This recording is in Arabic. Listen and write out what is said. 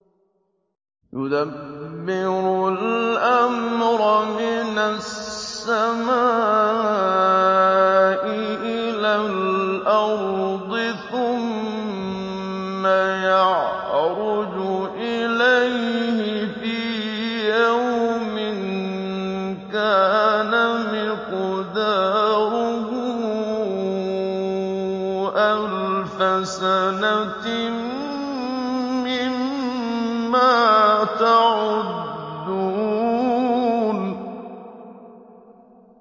يُدَبِّرُ الْأَمْرَ مِنَ السَّمَاءِ إِلَى الْأَرْضِ ثُمَّ يَعْرُجُ إِلَيْهِ فِي يَوْمٍ كَانَ مِقْدَارُهُ أَلْفَ سَنَةٍ مِّمَّا تَعُدُّونَ